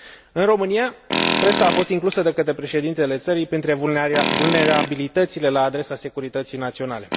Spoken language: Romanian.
În România, presa a fost inclusă de către președintele țării printre vulnerabilitățile la adresa securității naționale.